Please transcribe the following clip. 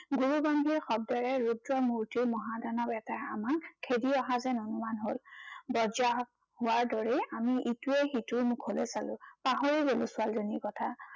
গুৰু গম্ভীৰ শব্দৰে ৰুদ্ৰ মূৰ্তিৰ মহা দানৱ এটাই আমাক খেদি অহা যেন অনুমান হল। বজ্ৰাহাত হোৱাৰ দৰেই আমি ইটোৱে সিটাৰ মুখলৈ চালো। পাহৰি গলো ছোৱালীজনীৰ কথা।